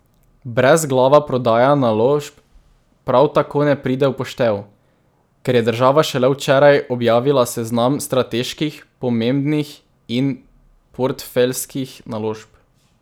Brezglava prodaja naložb prav tako ne pride v poštev, ker je država šele včeraj objavila seznam strateških, pomembnih in portfeljskih naložb.